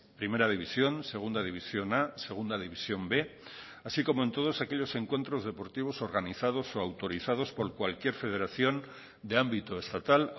primera división segunda división a segunda división b así como en todos aquellos encuentros deportivos organizados o autorizados por cualquier federación de ámbito estatal